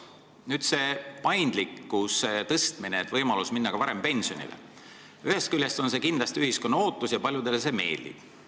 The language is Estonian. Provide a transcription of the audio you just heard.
Te räägite paindlikkuse suurendamisest, et on võimalus minna ka varem pensionile – ühest küljest ühiskond kindlasti on seda oodanud ja paljudele see meeldib.